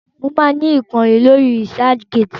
Mo máa ni ìkànnì lórí Researchgate.